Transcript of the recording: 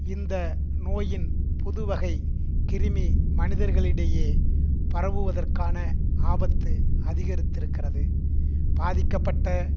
இந்த நோயின் புதுவகைக் கிருமி மனிதர்களிடையே பரவுவதற்கான ஆபத்து அதிகரித்திருக்கிறது பாதிக்கப்பட்ட